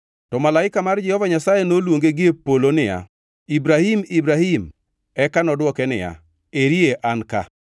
To malaika mar Jehova Nyasaye noluonge gie polo niya, “Ibrahim! Ibrahim!” Eka nodwoke niya, “Eri an ka.”